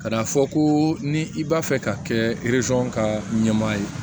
Ka na fɔ ko ni i b'a fɛ ka kɛ ka ɲɛma ye